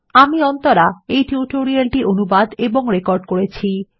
আমি অন্তরা এই টিউটোরিয়ালটি অনুবাদ এবং রেকর্ড করেছি